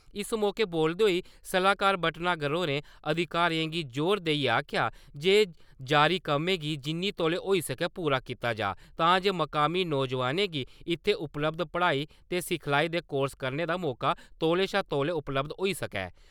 इस मौके बोलदे होई सलाह्कार भटनागर होरें अधिकारिएं गी ज़ोर देइयै आखेआ जे जारी कम्में गी जिन्ना तौले होई सकै पूरा कीता जाऽ तां जे मकामी नौजवानें गी इत्थै उपलब्ध पढ़ाई ते सिखलाई दे कोर्स करने दा मौके तौले शा तौले उपलब्ध होई सकै ।